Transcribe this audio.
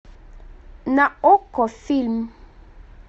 на окко фильм